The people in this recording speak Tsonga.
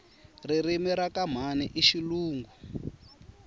ririmi rakamhani ishilungu